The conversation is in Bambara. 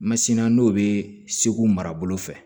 Masini na n'o bɛ segu mara bolo fɛ